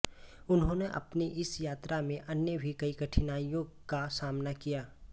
उन्होंने अपनी इस यात्रा में अन्य भी कई कठिनाइयों का सामना किया